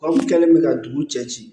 Anw kɛlen bɛ ka dugu cɛ ci